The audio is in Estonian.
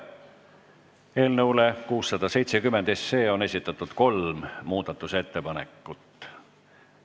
Eelnõu 670 kohta on esitatud kolm muudatusettepanekut.